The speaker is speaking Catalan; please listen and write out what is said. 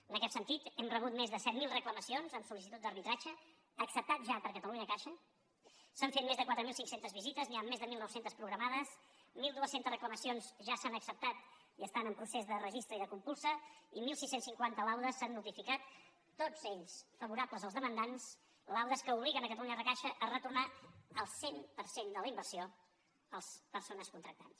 en aquest sentit hem rebut més de set mil reclamacions amb sol·licitud d’arbitratge acceptat ja per catalunyacaixa s’han fet més de quatre mil cinc cents visites n’hi han més de mil nou cents programades mil dos cents reclamacions ja s’han acceptat i estan en procés de registre i de compulsa i setze cinquanta laudes s’han notificat tots ells favorables als demandants laudes que obliguen catalunyacaixa a retornar el cent per cent de la inversió a les persones contractants